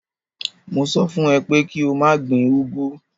Mo sọ fún ẹ pé kí o má gbin úgwú.